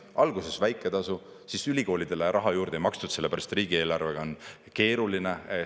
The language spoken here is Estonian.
Alguses väike tasu, siis ülikoolidele raha juurde ei makstud, sellepärast et riigieelarvega on keeruline.